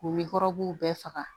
K'u bɛɛ faga